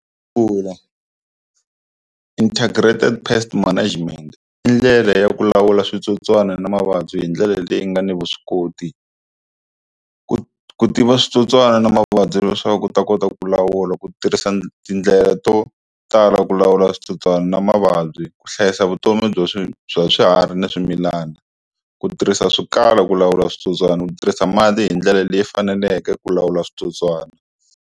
integrated Pest Management i ndlela ya ku lawula switsotswana na mavabyi hi ndlela leyi nga ni vuswikoti, ku tiva switsotswana na mavabyi leswaku u ta kota ku lawula ku tirhisa tindlela to tala ku lawula switsotswana na mavabyi ku hlayisa vutomi bya swi bya swiharhi ni swimilana. Ku tirhisa swikala ku lawula switsotswani ku tirhisa mati hi ndlela leyi faneleke ku lawula switsotswana.